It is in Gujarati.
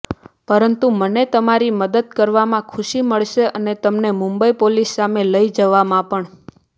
પરંતુ મને તમારી મદદ કરવામાં ખુશી મળશે અને તમને મુંબઈ પોલીસ સામે લઈ જવામાં પણ